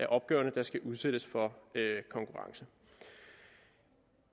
opgaverne der skal udsættes for konkurrence